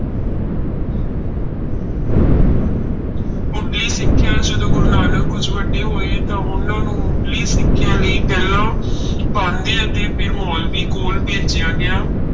ਮੁੱਢਲੀ ਸਿੱਖਿਆ, ਜਦੋਂ ਗੁਰੂ ਨਾਨਕ ਕੁੁੱਝ ਵੱਡੇ ਹੋਏ ਤਾਂ ਉਹਨਾਂ ਨੂੰ ਮੁੱਢਲੀ ਸਿੱਖਿਆ ਲਈ ਪਹਿਲਾਂ ਪਾਂਧੇ ਅਤੇ ਫਿਰ ਮੋਲਵੀ ਕੋਲ ਭੇਜਿਆ ਗਿਆ।